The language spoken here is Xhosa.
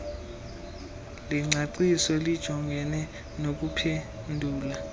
lengcaciso lijongene nokuphendula